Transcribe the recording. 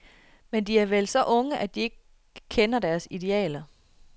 Men de er vel så unge at de ikke kender deres idealer.